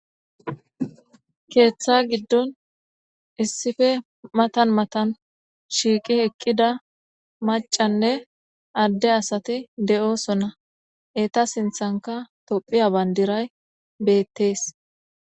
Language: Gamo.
Keetha gidon issippe matan matan shiiqi eqida macanne added asati de'osona,eta sinthanka tophiya bandiray betes.